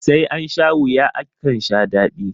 sai an sha wuya akan sha dadi